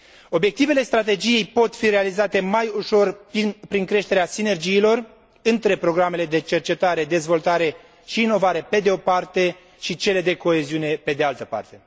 Obiectivele strategiei pot fi realizate mai ușor prin creșterea sinergiilor între programele de cercetare, dezvoltare și inovare, pe de o parte, și cele de coeziune, pe de altă parte.